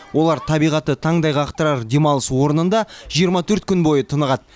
олар табиғаты таңдай қақтырар демалыс орнында жиырма төрт күн бойы тынығады